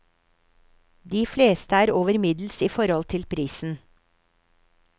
De fleste er over middels i forhold til prisen.